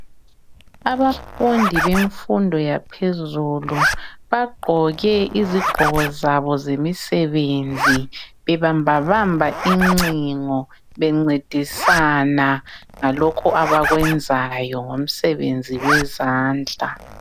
Abafundi bemfundo yaphezulu bagqoke izigqoko zabo zemisebenzi bebamba bamba incingo bencedisana ngalokho abakwenzayo ngomsebenzi wezandla.